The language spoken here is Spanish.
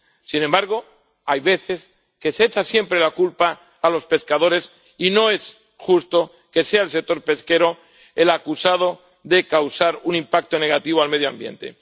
sin embargo, hay veces que se echa siempre la culpa a los pescadores, y no es justo que sea el sector pesquero el acusado de causar un impacto negativo al medio ambiente.